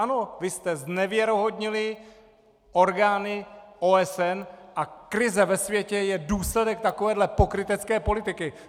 Ano, vy jste znevěrohodnili orgány OSN a krize ve světě je důsledek takovéto pokrytecké politiky!